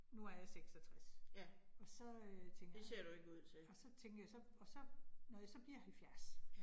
Nu er jeg 66, og så øh tænker jeg, og så tænker jeg så, og når jeg så bliver 70